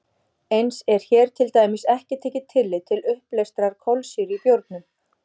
Eins er hér til dæmis ekki tekið tillit til uppleystrar kolsýru í bjórnum.